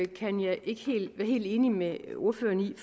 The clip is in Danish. kan jeg ikke være helt enig med ordføreren i